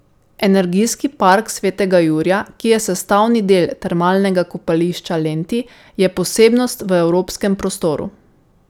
Energijski park svetega Jurija, ki je sestavni del Termalnega kopališče Lenti, je posebnost v evropskem prostoru.